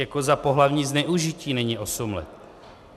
Jako za pohlavní zneužití není osm let.